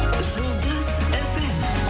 жұлдыз фм